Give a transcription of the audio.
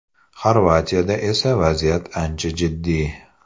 Xorvatiyada esa vaziyat ancha jiddiy.